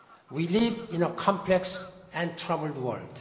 We live in a complex and troubled